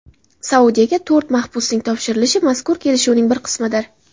Saudiyaga to‘rt mahbusning topshirilishi mazkur kelishuvning bir qismidir.